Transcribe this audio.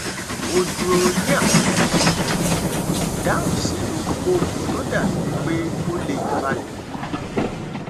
ó dúró ní àfojúsùn kò sì dáhùn sí ohunkóhun tó dàbí pé ó lè fa ìbínú